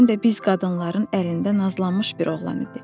Həm də biz qadınların əlində nazlanmış bir oğlan idi.